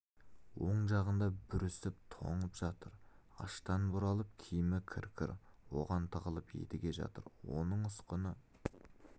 оң жағында бүрісіп тоңып жатыр аштан бұралып киімі кір-кір оған тығылып едіге жатыр оның ұсқыны